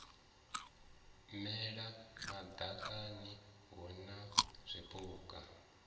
mela madakani hu na zwipuka